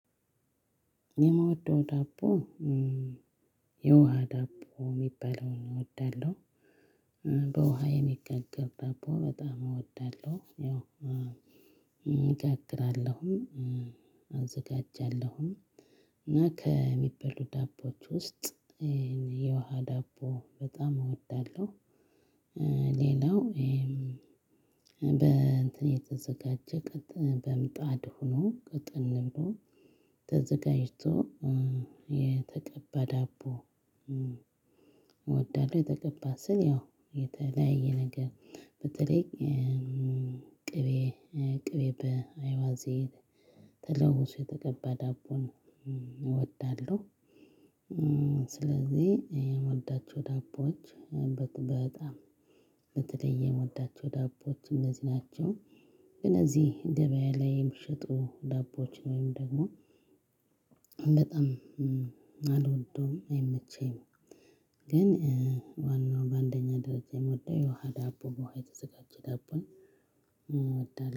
የምወደው ዳቦ የውሃ ዳቦ የሚባለውን እወዳለሁ። በውሃ የሚጋገር ደቦ በጣም እወዳለሁ። ያው እጋግራለሁም አዘጋጃለሁም። እና ከሚበሉ ዳቦዎች ውስጥ የውሃ ዳቦ በጣም እወዳለሁ። ሌላው በእንትን የተዘጋጀ ቀጥ በምጣድ ሆኖ ቀጥን ብሎ ተዘጋጅቶ የተቀባ ዳቦ። እወዳለሁ የተቀባ ስል ያው የተለያየ ነገር በተለይ ቅቤ ቅቤ በአይባዜድ ተለውሶ የተቀባ ዳቦን እወዳለሁ። ስለዚህ የምወዳቸው ዳቦዎች በጣም በተለይ የምወዳቸው ዳቦዎች እንደዚህ ናቸው። እነዚህ ገበያ ላይ የሚሸጡ ዳቦዎችን ወይም ደግሞ በጣም አልወደውም አይመቸኝም። ግን ዋናው በአንደኛ ደረጃ የምወደው የውሃ ዳቦ በውሃ የተዘጋጀ ዳቦን እወዳለሁ